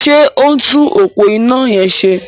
Ṣé ó ń tún òpó iná yẹn ṣe?